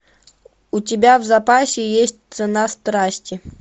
у тебя в запасе есть цена страсти